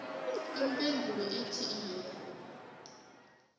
ipendulo ithi iye